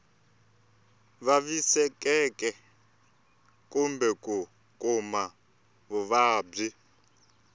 vavisekaka kumbe ku kuma vuvabyi